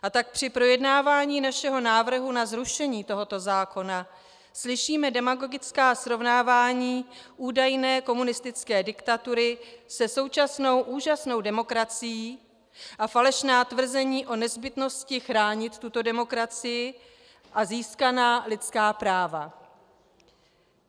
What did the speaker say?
A tak při projednávání našeho návrhu na zrušení tohoto zákona slyšíme demagogická srovnávání údajné komunistické diktatury se současnou úžasnou demokracií a falešná tvrzení o nezbytnosti chránit tuto demokracii a získaná lidská práva.